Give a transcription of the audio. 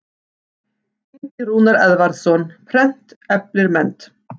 Ingi Rúnar Eðvarðsson, Prent eflir mennt.